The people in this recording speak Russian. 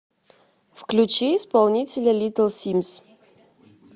включи исполнителя литл симз